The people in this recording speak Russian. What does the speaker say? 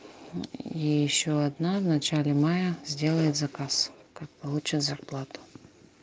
и ещё одна в начале мая сделает заказ как получит зарплату